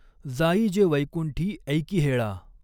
जा इ जॆ वैकुंठीं ऎकीहॆळा.